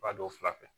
Ba don o fila fɛ